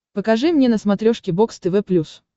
покажи мне на смотрешке бокс тв плюс